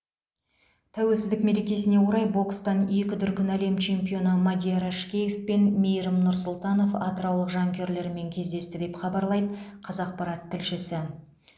тәуелсіздік мерекесіне орай бокстан екі дүркін әлем чемпионы мадияр әшкеев пен мейірім нұрсұлтанов атыраулық жанкүйерлерімен кездесті деп хабарлайды қазақпарат тілшісі